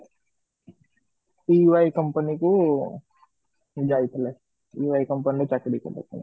PY company କୁ ପାଇଥିଲେ PY company ରେ ଚାକିରି କରିବା ପାଇଁ